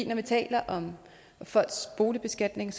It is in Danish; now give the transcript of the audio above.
når vi taler om folks boligbeskatning